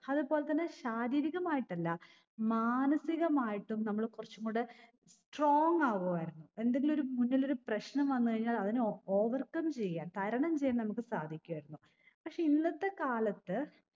അത് പോലെ തന്നെ ശാരീരികമായിട്ടല്ല മനസികമായിട്ടും നമ്മള് കുറച്ചും കൂടെ strong ആകുവായിരുന്നു എന്തെങ്കിലൊരു മുന്നിലൊരു പ്രശ്ണം വന്ന് കഴിഞ്ഞാൽ അതിനെ ഓ overcome ചെയ്യാൻ തരണം ചെയ്യാൻ നമ്മുക്ക് സാധിക്കുവായിരുന്നു പക്ഷെ ഇന്നത്തെ കാലത്ത്